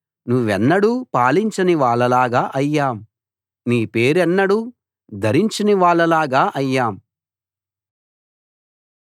నువ్వెన్నడూ పాలించని వాళ్ళలాగా అయ్యాం నీ పేరెన్నడూ ధరించని వాళ్ళలాగా అయ్యాం